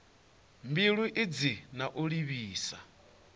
mbilo idzi na u livhisa